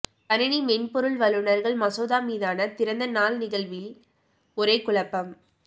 கணினி மென்பொருள் வல்லுநர்கள் மசோதா மீதான திறந்த நாள் நிகழ்வில் ஒரே குழப்பம்